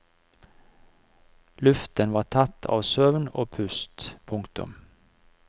Luften var tett av søvn og pust. punktum